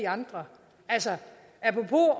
andre altså apropos